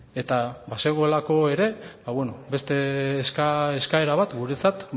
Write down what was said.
eta bazegoelako ere beste eskaera bat guretzat